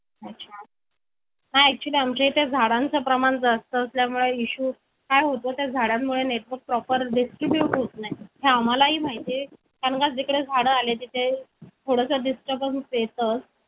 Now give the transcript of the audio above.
अच्छा हा actually आम्हाचा इथे झाडांचं प्रमाण जास्त असल्यामुळे issue काय होतंय झाडामुळे network proper distribute नाही हे आम्हाला ही माहिती आहे कारण का जिकडे झाडे आले तिथे थोडास disturbance येतच